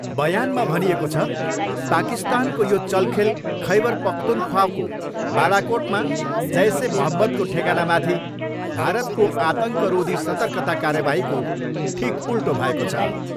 बयानमा भनिएको छ, पाकिस्तानको यो चलखेल खैबर पख्तुनख्वाको बालाकोटमा जैस ए मोहम्मदको ठेगानामाथि भारतको आतङ्करोधी सतर्कता कार्यवाहीको ठिक उल्टो भएको छ।